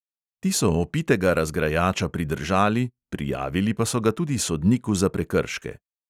Ti so opitega razgrajača pridržali, prijavili pa so ga tudi sodniku za prekrške.